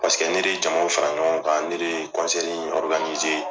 Paseke ne de jamaw fara ɲɔgɔn kan, ne de ye